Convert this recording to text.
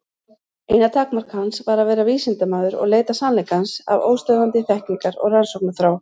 Eina takmark hans var að vera vísindamaður og leita sannleikans af óstöðvandi þekkingar- og rannsóknarþrá.